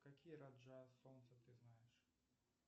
какие раджа солнца ты знаешь